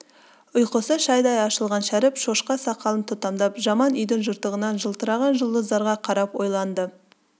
ұйқысы шайдай ашылған шәріп шоқша сақалын тұтамдап жаман үйдің жыртығынан жылтыраған жұлдыздарға қарап ойланды